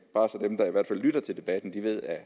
bare så dem der i hvert fald lytter til debatten ved at